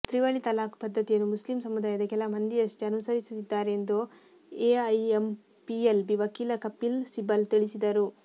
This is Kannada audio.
ತ್ರಿವಳಿ ತಲಾಖ್ ಪದ್ದತಿಯನ್ನು ಮುಸ್ಲಿಂ ಸಮುದಾಯದ ಕೆಲ ಮಂದಿಯಷ್ಟೇ ಅನುಸರಿಸುತ್ತಿದ್ದಾರೆ ಎಂದು ಎಐಎಂಪಿಎಲ್ಬಿ ವಕೀಲ ಕಪಿಲ್ ಸಿಬಲ್ ತಿಳಿಸಿದರು